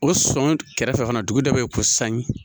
O sɔn kɛrɛfɛ fana dugu dɔ bɛ yen ko sangi